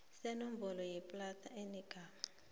senomboro yeplada enegama